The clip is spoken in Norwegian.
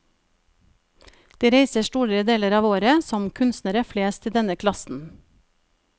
De reiser store deler av året, som kunstnere flest i denne klassen.